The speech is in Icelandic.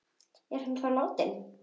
Er hann þá látinn?